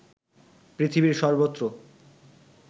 পৃথিবীর সর্ব্বত্র